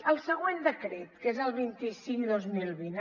el següent decret que és el vint cinc dos mil vint